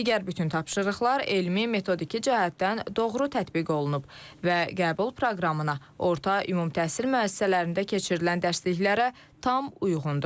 Digər bütün tapşırıqlar elmi, metodiki cəhətdən doğru tətbiq olunub və qəbul proqramına orta ümumi təhsil müəssisələrində keçirilən dərsliklərə tam uyğundur.